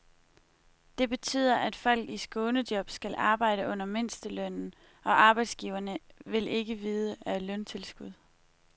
Det betyder, at folk i skånejob skal arbejde under mindstelønnen, og arbejdsgiverne vil ikke vide af løntilskud.